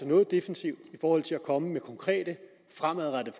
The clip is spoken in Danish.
noget defensivt i forhold til at komme med konkrete fremadrettede